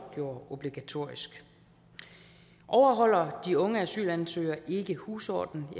gjorde obligatorisk overholder de unge asylansøgere ikke husordenen